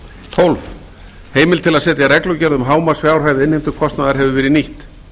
tólf heimild til að setja reglugerð um hámarksfjárhæð innheimtukostnaðar hefur verið nýtt